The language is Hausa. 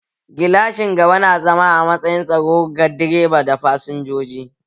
Gilashin gaba na zama a matsayin tsaro ga direba da fasinjoji